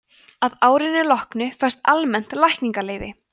að árinu loknu fæst almennt lækningaleyfi